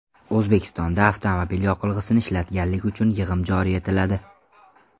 O‘zbekistonda avtomobil yoqilg‘isini ishlatganlik uchun yig‘im joriy etiladi.